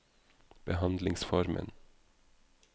behandlingsformen